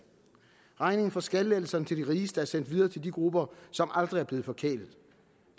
regningen for skattelettelserne til de rigeste er sendt videre til de grupper som aldrig er blevet forkælet